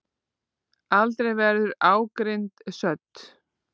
Aldrei verður ágirnd södd.